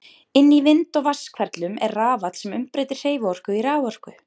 Inni í vind- og vatnshverflum er rafall sem umbreytir hreyfiorku í raforku.